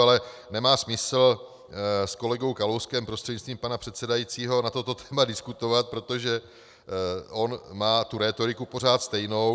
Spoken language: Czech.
Ale nemá smysl s kolegou Kalouskem prostřednictvím pana předsedajícího na toto téma diskutovat, protože on má tu rétoriku pořád stejnou.